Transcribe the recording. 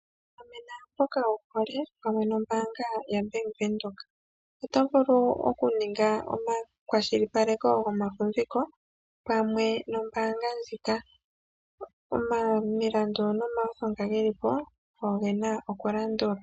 Gamena mboka wuhole opamwe nombaanga yo Bank Windhoek. Oto vulu oku ninga omakwashilipaleko gomafumviko pamwe nombaanga ndjika , omilandu nomawutho ngoka gelipo ogo gena oku landulwa.